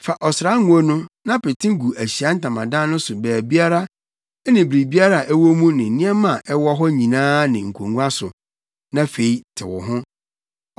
“Fa ɔsrango no na pete gu Ahyiae Ntamadan no so baabiara ne biribiara a ɛwɔ mu ne nneɛma a ɛwɔ hɔ nyinaa ne nkongua so, na fa tew ho.